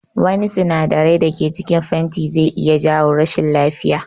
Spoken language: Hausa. Wari sinadarai da cikin fenti zai iya jawo rashin lafiya